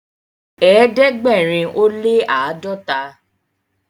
ẹdẹgbẹrin o le ãdọta